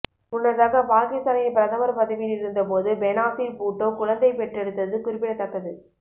முன்னதாக பாகிஸ்தானின் பிரதமர் பதிவியில் இருந்த போது பெனாசிர் பூட்டோ குழந்தை பெற்றெடுத்ததது குறிப்பிடத்தக்கது